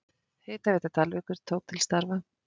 Hitaveita Dalvíkur tók til starfa.